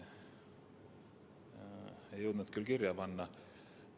Ei jõudnud kirja panna.